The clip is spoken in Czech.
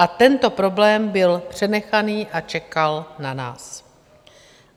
A tento problém byl přenechaný a čekal na nás.